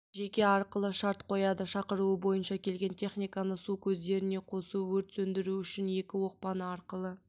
жеке арқылы шарт қояды шақыруы бойынша келген техниканы су көздеріне қосу өрт сөндіру үшін екі оқпаны арқылы